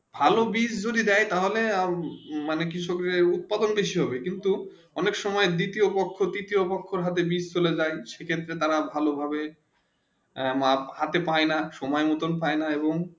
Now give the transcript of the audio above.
ভালো বীজ যদি দেয় তা হলে মানে কৃষক দের উৎপাদন বেশি হবে কিন্তু অনেক সময়ে দ্বিতীয় পক্ষ তৃতীয় পক্ষ সাথে বীজ চলে জয়ী সেই ক্ষেত্রে তারা ভালো ভাবে মাল হাথে পায়ে না সময়ে পায়ে না